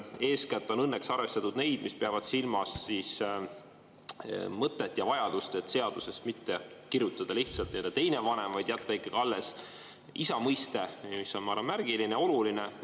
Eeskätt on õnneks arvestatud neid, mis peavad silmas mõtet ja vajadust mitte kirjutada seaduses lihtsalt "teine vanem", vaid jätta ikkagi alles isa mõiste, mis on, ma arvan, märgiline, oluline.